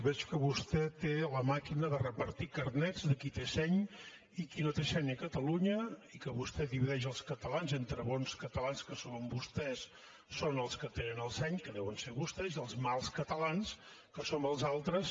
veig que vostè té la màquina de repartir carnets de qui té seny i qui no té seny a catalunya i que vostè divideix els catalans entre bons catalans que són vostès són els que tenen el seny que deuen ser vostès i els mals catalans que som els altres